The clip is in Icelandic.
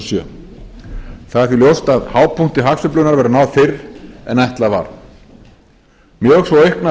sjö það er því ljóst að hápunkti hagsveiflunnar verður náð fyrr en ætlað var mjög svo auknar